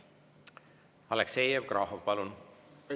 Aleksei Jevgrafov, palun!